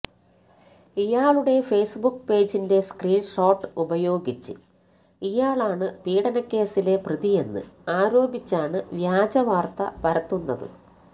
ഇയാളുടെ ഫേസ്ബുക്ക് പേജിന്റെ screen shot ഉപയോഗിച്ച് ഇയാളാണ് പീഡനക്കേസിലെ പ്രതിയെന്ന് ആരോപിച്ചാണ് വ്യാജ വാർത്ത പരത്തുന്നത്